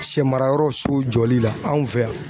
Sɛ marayɔrɔ so jɔli la anw fɛ yan